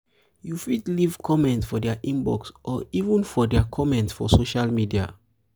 you fit leave comment for their inbox or even um for their um comment for social media